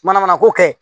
Mana mana ko kɛ